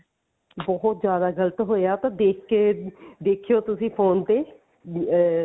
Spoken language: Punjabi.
ਬਹੁਤ ਜਿਆਦਾ ਗਲਤ ਹੋਇਆ ਉਹ ਤਾਂ ਦੇਖ ਕਿ ਦੇਖਿਓ ਤੁਸੀਂ phone ਤੇ ਵੀ ਅਹ